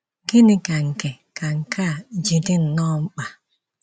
Gịnị ka nke ka nke a ji dị nnọọ mkpa?